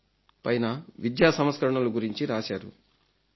in పైన విద్యా సంస్కరణలు గురించి రాశారు